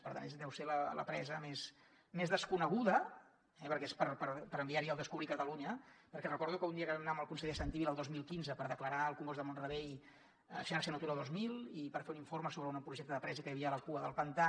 per tant deu ser la presa més desconeguda eh perquè és per enviar hi el descobrir catalunya dia que vam anar hi amb el conseller santi vila el dos mil quinze per declarar el congost de mont rebei xarxa natura dos mil i per fer un informe sobre un projecte de presa que hi havia a la cua del pantà